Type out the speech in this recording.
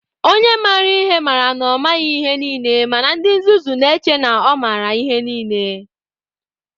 Onye maara ihe mara na ọ maghị ihe niile, mana ndị nzuzu na-eche na ọ maara ihe niile.